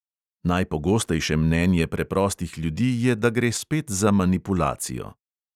Najpogostejše mnenje preprostih ljudi je, da gre spet za manipulacijo.